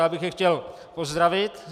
Já bych je chtěl pozdravit.